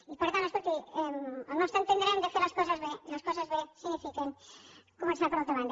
i per tant escolti al nostre entendre hem de fer les coses bé i les coses bé significa començar per una altra banda